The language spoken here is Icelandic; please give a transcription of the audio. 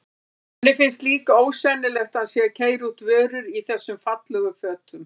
Henni finnst líka ósennilegt að hann sé að keyra út vörur í þessum fallegu fötum.